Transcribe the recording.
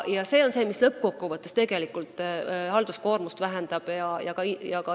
See peaks lõppkokkuvõttes halduskoormust vähendama.